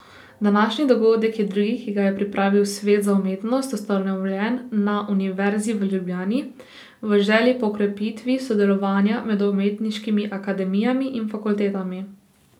Današnji dogodek je drugi, ki ga je pripravil Svet za umetnost, ustanovljen na Univerzi v Ljubljani, v želji po krepitvi sodelovanja med umetniškimi akademijami in fakultetami.